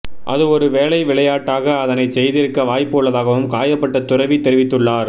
அது ஒரு வேளை விளையாட்டாக அதனைச் செய்திருக்க வாய்ப்பு உள்ளதாகவும் காயப்பட்ட துறவி தெரிவித்துள்ளார்